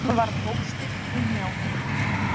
Hún varð óstyrk í hnjánum.